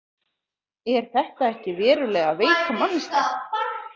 Er þetta ekki verulega veik manneskja?